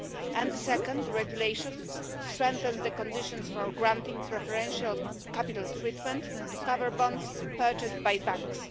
And the second, a regulation, strengthens the conditions for granting preferential capital treatment to covered bonds purchased by banks.